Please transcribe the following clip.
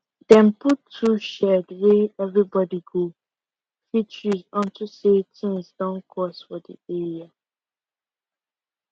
dem put tool shed wey everybody go fit use unto say things don cost for the area